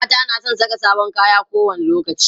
mata na San Saka sabon kaya ko wani lokaci